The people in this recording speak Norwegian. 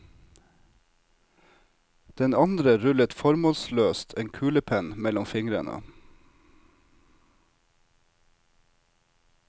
Den andre rullet formålsløst en kulepenn mellom fingrene.